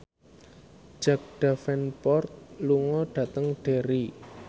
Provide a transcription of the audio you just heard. Jack Davenport lunga dhateng Derry